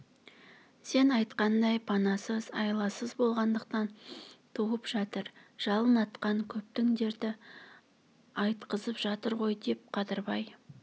сен айтқандай панасыз айласыз болғандықтан туып жатыр жалын атқан көптің дерті айтқызып жатыр ғой деп қадырбай